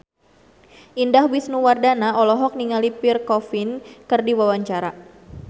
Indah Wisnuwardana olohok ningali Pierre Coffin keur diwawancara